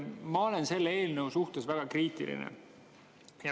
Ma olen selle eelnõu suhtes väga kriitiline.